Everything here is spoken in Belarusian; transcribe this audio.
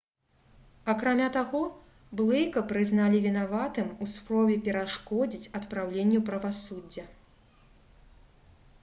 акрамя таго блэйка прызналі вінаватым у спробе перашкодзіць адпраўленню правасуддзя